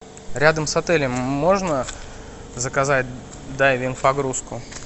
рядом с отелем можно заказать дайвинг погрузку